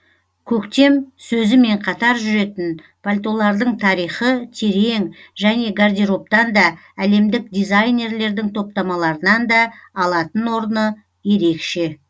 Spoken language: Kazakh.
көктем сөзімен қатар жүретін пальтолардың тарихы терең және гардеробтан да әлемдік дизайнерлердің топтамаларынан да алатын орны ерекше